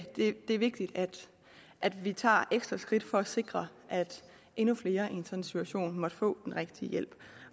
er vigtigt at vi tager ekstra skridt for at sikre at endnu flere i en sådan situation måtte få en rigtig hjælp